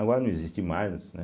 Agora não existe mais.